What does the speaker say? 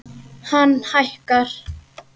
Hann hækkar.